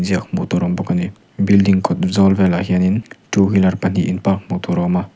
ziak hmuh tur a awm bawk ani building kawt zawl velah hianin two wheeler pahnih in park hmuh tur a awm a.